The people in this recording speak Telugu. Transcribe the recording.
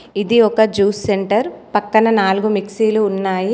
ఇది ఒక జ్యూస్ సెంటర్ . పక్కన నాలుగు మిక్సీలు ఉన్నాయి.